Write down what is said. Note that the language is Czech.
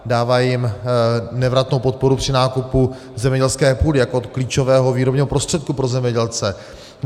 Dává jim nevratnou podporu při nákupu zemědělské půdy jako klíčového výrobního prostředku pro zemědělce.